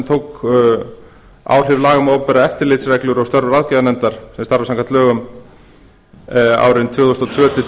tók áhrif laga um opinberar eftirlitsreglur og störf ráðgjafanefndar sem starfa samkvæmt lögum árin tvö þúsund og tvö til tvö